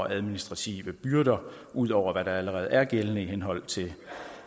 administrative byrder ud over hvad der allerede er gældende i henhold til